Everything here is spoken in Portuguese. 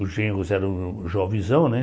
Os genros eram jovezão, né?